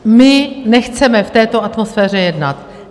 My nechceme v této atmosféře jednat.